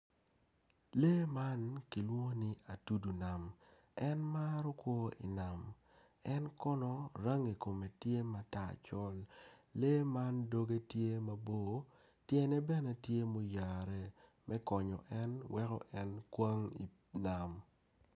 Lee man kilwongo ni atudu nam en maro kwo i nam en kono rangi kume tye ma tar col lee man dogge tye mabor tyene bene tye muyare me konyo en weko en kwang i nam